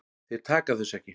Þeir taka þessu ekki.